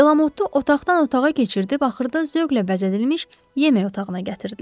Delamotu otaqdan otağa keçirib axırda zövqlə bəzədilmiş yemək otağına gətirdilər.